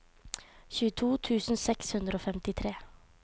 tjueto tusen seks hundre og femtitre